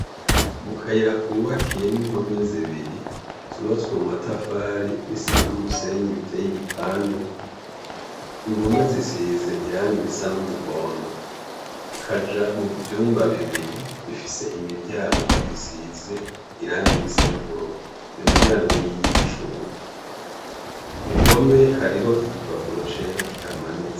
Mukayira kubakiye n'impore zibiri, z'ubatswe mu matafari n' isima n' umusenyi biteye igipande, impombe zisize irangi risa n'umuhondo kaja muvyumba bibiri bifis' imiryango, isize irangi risa n'ubururu, iyo miryango n' iyicuma, kuruhome hariho igipapuro cera kihamanitse.